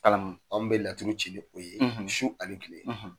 maa mun bɛ laturu ci su ani kile